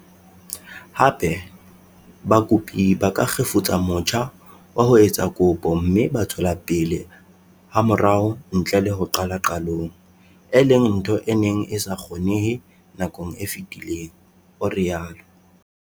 Hape, bakopi ba ka kgefutsa motjha wa ho etsa kopo mme ba tswela pele hamorao ntle le ho qala qalong, e leng ntho e neng e sa kgonehe nakong e fetileng, o rialo.